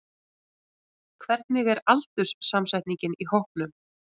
Hvernig er aldurssamsetningin í hópnum?